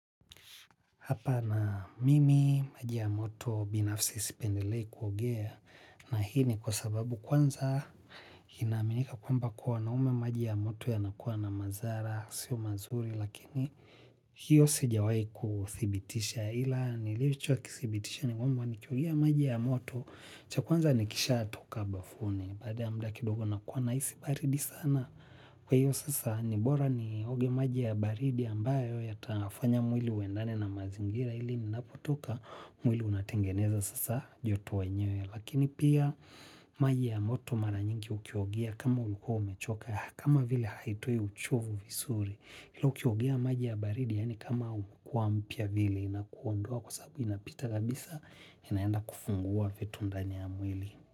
Hapa na mimi, maji ya moto, binafsi sipendelei kuogea, na hii ni kwa sababu kwanza inaaminika kwamba kuwa wanaume maji ya moto yanakuwa na madhara, sio mazuri, lakini hiyo sijawai kuthibitisha ila nilichokithibitisha ni kwamba nikiogea maji ya moto, cha kwanza nikisha toka bafuni, baada ya muda kidogo nakuwa nahisi baridi sana. Kwa hiyo sasa ni bora nioge maji ya baridi ambayo yatafanya mwili uendane na mazingira ili ni napotoka mwili unatengeneza sasa joto wenyewe. Lakini pia maji ya moto mara nyingi ukiogea kama ulikuwa umechoka kama vile haitoi uchovu vizuri. Hilo ukiogea maji ya baridi yaani kama hukua mpya vile inakuondua kwa sababu inapita kabisa inaenda kufungua vitu ndani ya mwili.